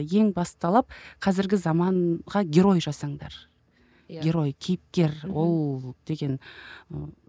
ең басты талап қазіргі заманға герой жасаңдар герой кейіпкер ол деген ы